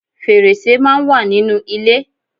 Fèrèsé máa ń wà nínú ilé